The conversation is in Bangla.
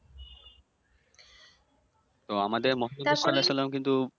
তো আমাদের মহানবী সাল্লাল্লাহু সাল্লাম কিন্তু